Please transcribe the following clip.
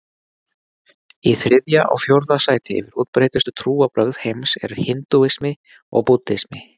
Í þriðja og fjórða sæti yfir útbreiddustu trúarbrögð heims eru hindúismi og búddismi.